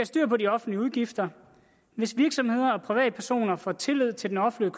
styr på de offentlige udgifter hvis virksomheder og privatpersoner får tillid til den offentlige